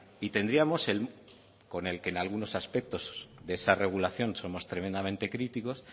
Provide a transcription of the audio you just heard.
y tendríamos el con el que en algunos aspectos de esa regulación somos tremendamente críticos